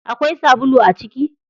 Akwai sabulu a ciki?